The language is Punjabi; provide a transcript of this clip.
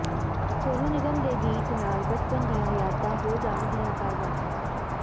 ਸੋਨੂ ਨਿਗਮ ਦੇ ਗੀਤ ਨਾਲ ਬਚਪਨ ਦੀਆਂ ਯਾਦਾਂ ਹੋ ਜਾਣਗੀਆਂ ਤਾਜ਼ਾ